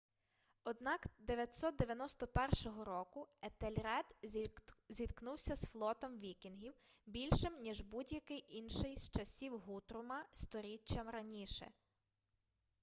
однак 991 року етельред зіткнувся з флотом вікінгів більшим ніж будь-який інший з часів гутрума сторіччям раніше